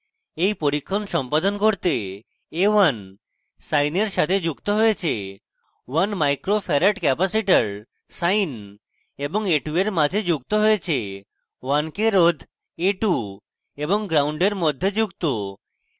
এই পরীক্ষণ সম্পাদন করতে a1 sine এর সাথে যুক্ত হয়েছে